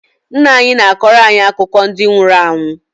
Nnaanyị na-akọrọ anyị akụkọ ndi nwuru anwụ